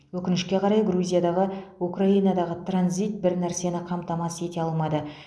өкінішке қарай грузиядағы украинадағы транзит бір нәрсені қамтамасыз ете алмады